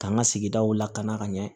K'an ka sigidaw lakana ka ɲɛ